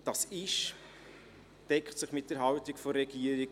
Dies deckt sich mit der Haltung der Regierung.